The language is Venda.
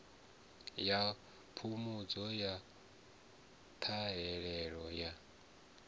ya phungudzo ya ṱhahelelo ya